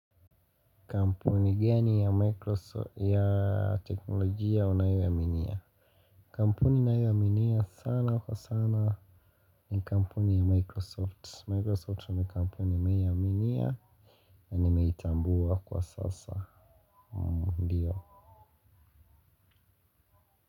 Kampuni gani ya teknolojia unayoiaminia. Kampuni nayoaminia sana kwa sana ni kampuni ya microsoft Microsoft ni kampuni nimeiaminia. Na nimeitambua kwa sasa. Ndiyo.